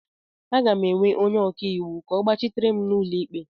M ga-ewe onye ọka iwu ka ọ gbachitere m n'ụlọ ikpe